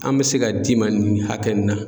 An bɛ se ka d'i ma nin hakɛ nin na.